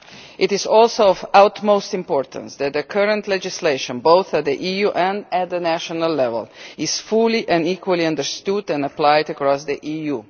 It is also of the utmost importance that the current legislation at both EU and national level is fully and equally understood and applied across the EU.